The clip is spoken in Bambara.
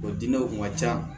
O diinɛw kun ka ca